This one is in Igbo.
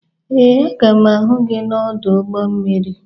Ee, a ga m ahụ gị n'ọdụ ụgbọ mmiri.